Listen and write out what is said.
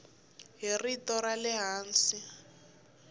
hi rito ra le hansi